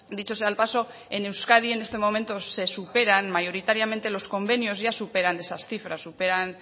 dicho sea el paso en euskadi en este momento se superan mayoritariamente los convenios ya superan esas cifras